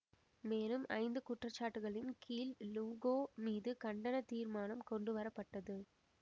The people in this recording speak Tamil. மேலும் ஐந்து குற்றச்சாட்டுகளின் கீழ் லூகோ மீது கண்டன தீர்மானம் கொண்டு வரப்பட்டது